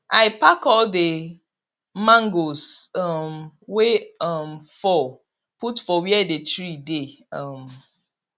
i pack all the mangoes um wey um fall put for where the tree dey um